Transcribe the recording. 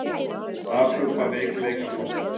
Afhjúpar veikleika flokksins